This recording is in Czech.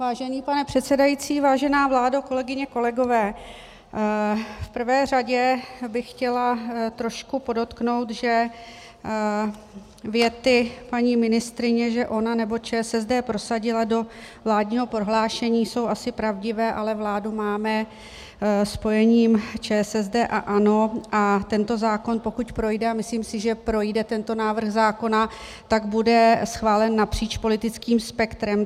Vážený pane předsedající, vážená vládo, kolegyně, kolegové, v prvé řadě bych chtěla trošku podotknout, že věty paní ministryně, že ona nebo ČSSD prosadila do vládního prohlášení, jsou asi pravdivé, ale vládu máme spojením ČSSD a ANO a tento zákon, pokud projde, a myslím si, že projde tento návrh zákona, tak bude schválen napříč politickým spektrem.